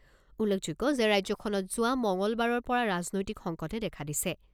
উল্লেখযোগ্য যে ৰাজ্যখনত যোৱা মঙলবাৰৰ পৰা ৰাজনৈতিক সংকটে দেখা দিছে।